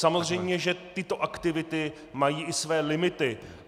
Samozřejmě že tyto aktivity mají i své limity.